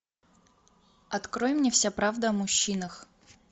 открой мне вся правда о мужчинах